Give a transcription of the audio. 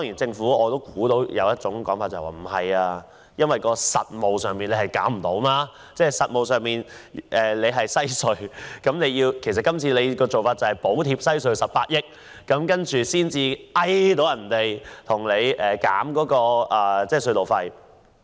政府可能會說在實務上行不通。今次政府補貼西隧18億元，才可以要求西隧公司減低隧道費。